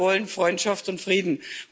Wir wollen Freundschaft und Frieden.